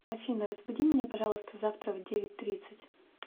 афина разбуди меня пожалуйста завтра в девять тридцать